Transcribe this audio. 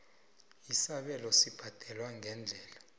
isabelo sibhadelwa ngeendlela